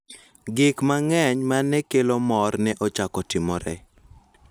Gik mang�eny ma ne kelo mor ne ochako timore.